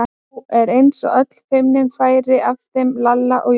Nú var eins og öll feimni færi af þeim Lalla og Jóa.